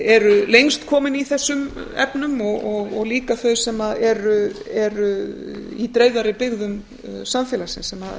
eru lengst komin í þessum efnum og líka þau sem eru í dreifðari byggðum samfélagsins sem